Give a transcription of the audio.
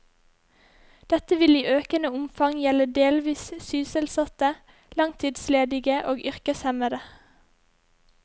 Dette vil i økende omfang gjelde delvis sysselsatte, langtidsledige og yrkeshemmede.